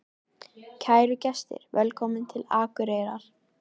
Kæru gestir! Velkomnir til Akureyrar.